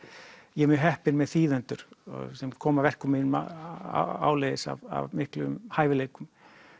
ég er mjög heppinn með þýðendur sem koma verkum mínum áleiðis af miklum hæfileikum